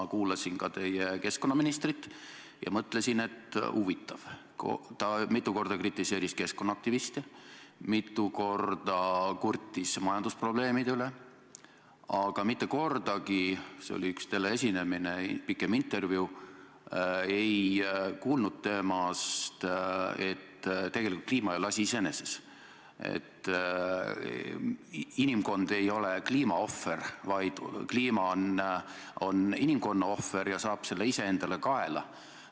Ma kuulasin ka teie keskkonnaministrit ja mõtlesin, et huvitav, ta mitu korda kritiseeris keskkonnaaktiviste, mitu korda kurtis majandusprobleemide üle, aga mitte kordagi – see oli üks teleesinemine, pikem intervjuu – ei kuulnud temalt, et tegelikult kliima ei ole asi iseeneses, et inimkond ei ole kliima ohver, vaid kliima on inimkonna ohver ja inimkond saab selle kõik endale kaela.